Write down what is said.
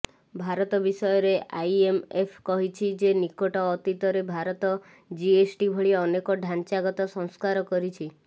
ଭାରତ ବିଷୟରେ ଆଇଏମ୍ଏଫ୍ କହିଛି ଯେ ନିକଟ ଅତୀତରେ ଭାରତ ଜିଏସ୍ଟି ଭଳି ଅନେକ ଢାଞ୍ଚାଗତ ସଂସ୍କାର କରିଛି